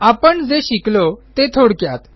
आपण जे शिकलो ते थोडक्यात